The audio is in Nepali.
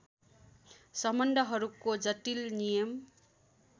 सम्बन्धहरूको जटिल नियम